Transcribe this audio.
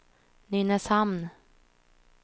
Nynäshamn